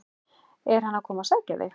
Er hann að koma að sækja þig?